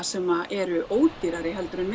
sem eru ódýrari heldur en